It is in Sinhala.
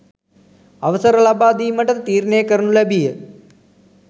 අවසර ලබාදීමට ද තීරණය කරනු ලැබීය